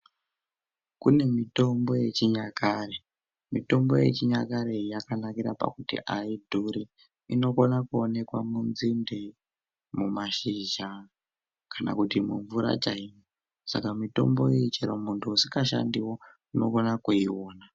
Kune mutombo yechinyakare mutombo yechinyakareyi yakanakira pakuti yaidhuri inogona kuonekwa munzinde, mumashizha kana kuti mumvura chaimo saka mutomboyi chero muntu usingashandiwo unogona kuiyona